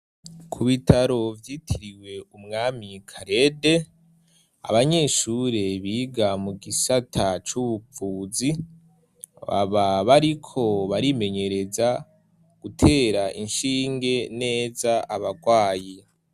Ku bitaro vyitiriwe umwami karede ,abanyeshure biga mu gisata c'ubuvuzi ,baba bariko barimenyereza, gutera inshinge neza abagwayi.